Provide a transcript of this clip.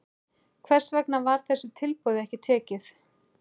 Hvers vegna var þessu tilboði ekki tekið?